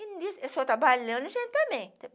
E nisso, eu sou trabalhando, gente, também.